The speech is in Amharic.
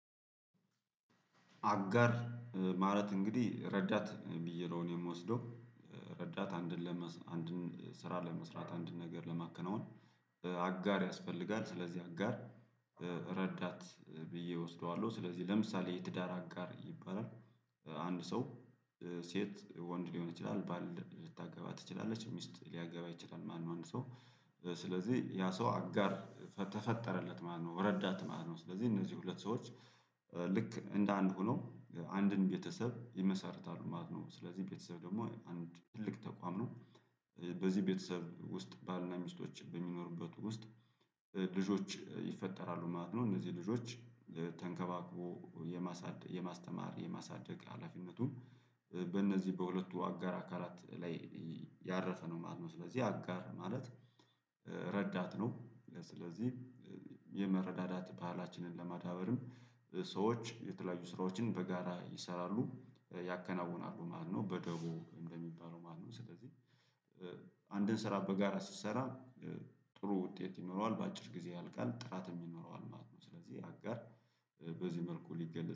አጋር ማለት እንግዲህ ረዳት ብዬ ነው እኔ የምወስደው። ረዳት አንድን ለመስ አንድን ስራ ለመስራት አንድን ነገር ለማከናወን አጋር ያስፈልጋል ስለዚህ አጋር ረዳት ብዬ እወስደዋለሁ። ስለዚህ ለምሳሌ የትዳር አጋር ይባላል። አንድ ሰው ሴት ወንድ ሊሆን ይችላል ባል ልታገባ ትችላለች። ሚስት ሊያገባ ይችላል ማለት ነው አንድ ሰው። ስለዚህ ያ ሰው አጋር ተፈጠረለት ማለት ነው። ረዳት ማለት ነው። ስለዚህ እነዚህ ሁለት ሰዎች ልክ እንደ አንድ ሆነው አንድን ቤተሰብ ይመሰርታሉ ማለት ነው። ስለዚህ ቤተሰብ ደግሞ አንድ ትልቅ ተቋም ነው። በዚህ ቤተሰብ ውስጥ ባልና ሚስቶች በሚኖሩበት ውስጥ ልጆች ይፈጠራሉ ማለት ነው። እነዚህ ልጆች ተንከባክቦ የማሳደግ፣ የማስተማር፣ የማሳደግ ሀላፊነቱን በእነዚህ በሁለቱ አጋር አካላት ላይ ያረፈ ነው ማለት ነው። ስለዚህ አጋር ማለት ረዳት ነው ስለዚህ የመረዳዳት ባህላችንን ለማዳበርም ሰዎች የተለያዩ ስራዎችን በጋራ ይሰራሉ ያከናውናሉ ማለት ነው። በደቦ እንደሚባለው ማለት ነው። ስለዚህ አንድን ስራ በጋራ ስትሰራ ጥሩ ውጤት ይኖረዋል። በአጭር ጊዜ ያልቃል ጥራትም ይኖረዋል ማለት ነው። ስለዚህ አጋር በዚህ መልኩ ሊገለጽ